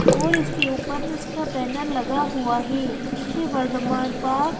और इसके ऊपर इसका बैनर लगा हुआ है इसे वर्धमान पार्क --